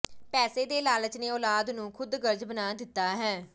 ਪੈਸੇ ਦੇ ਲਾਲਚ ਨੇ ਔਲਾਦ ਨੂੰ ਖੁਦਗਰਜ਼ ਬਣਾ ਦਿੱਤਾ ਹੈ